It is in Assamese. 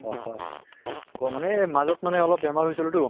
অহ হ মানে মাজত মানে অলপ বেমাৰ হৈছিলো তো